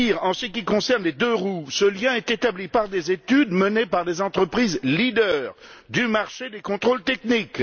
Pire, en ce qui concerne les deux roues, ce lien est établi par des études menées par des entreprises leaders du marché des contrôles techniques.